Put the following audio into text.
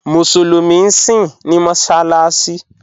Musulumi síń ní mọ́ṣaláṣì